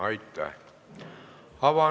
Aitäh!